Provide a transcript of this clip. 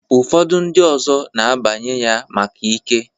Ụfọdụ ndị ọzọ na-abanye ya maka ike.